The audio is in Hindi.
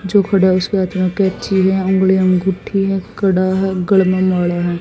जो खड़ा है उसके हाथ में कैंची है उंगली में अंगूठी है कड़ा है गले में माला है।